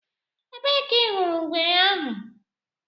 Ebee ka ị hụrụ ngwere ahụ?